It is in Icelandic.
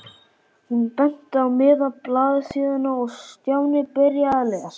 Hún benti á miðja blaðsíðuna og Stjáni byrjaði að lesa.